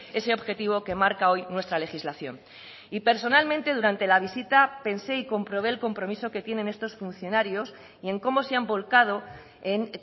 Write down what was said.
ese objetivo que marca hoy nuestra legislación y personalmente durante la visita pensé y comprobé el compromiso que tienen estos funcionarios y en cómo se han volcado en